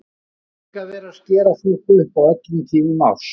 Hvað er líka verið að skera fólk upp á öllum tímum árs!